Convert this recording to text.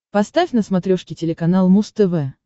поставь на смотрешке телеканал муз тв